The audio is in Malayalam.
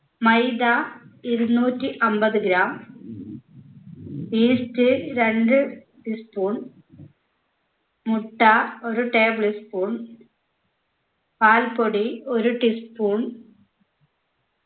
മൈദ ഇരുന്നൂറ്റി അമ്പത് gram yeast രണ്ട് tea spoon മുട്ട ഒരു table spoon പാൽപ്പൊടി ഒരു tea spoon